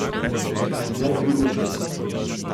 Najvplivnejšega.